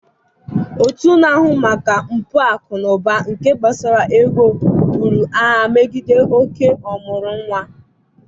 Òtù na-ahụ maka mpụ akụ na ụba nke gbasara ego buru agha megide oké ọmụrụ nwa.